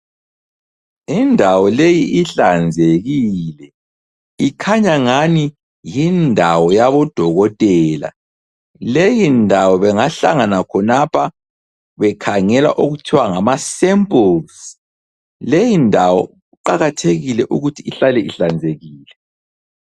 Indawo leyi ihlanzekile. Ikhanya ngani yindawo yabodokotela. Leyindawo bengahlangana khonapha bekhangela okuthiwa ngama samples. Leyindawo kuqakathekile ukuthi ihlale ihlanzekile.